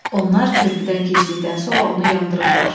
Onlar körpüdən keçdikdən sonra onu yandırıblar.